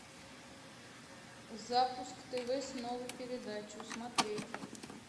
запуск тв с новой передачей смотреть